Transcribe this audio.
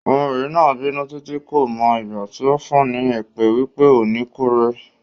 Ọmọbìnrin náà bínú títí, kò mọ ìgbà tí ó fún ní èpè wípé "O ò ní kúre".